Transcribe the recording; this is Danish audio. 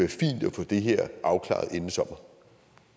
få det her afklaret inden sommer